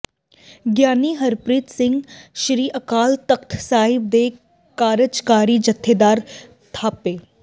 ਗਿਆਨੀ ਹਰਪ੍ਰੀਤ ਸਿੰਘ ਸ੍ਰੀ ਅਕਾਲ ਤਖਤ ਸਾਹਿਬ ਦੇ ਕਾਰਜਕਾਰੀ ਜਥੇਦਾਰ ਥਾਪੇ